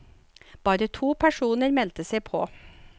Bare to personer meldte seg på.